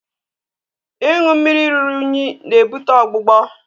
ịṅụ mmiri ruru unyi na-ebute ọgbụgbọ